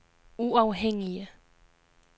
uafhængige